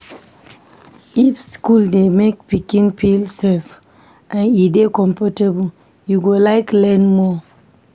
If school dey make pikin feel safe and e dey comfortable, e go like learn more.